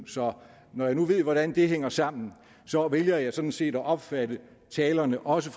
så når jeg nu ved hvordan det hænger sammen vælger jeg sådan set at opfatte talerne også